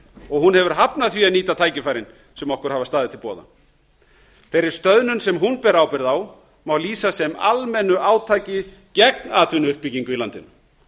og hún hefur hafnað því að nýta tækifærin sem okkur hafa staðið til boða þeirri stöðnum sem hún ber ábyrgð á má lýsa sem almennu átaki gegn atvinnuuppbyggingu í landinu